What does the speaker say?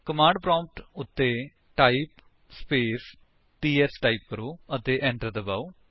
command prompt ਉੱਤੇ type space PS type ਕਰੋ ਅਤੇ enter ਦਬਾਓ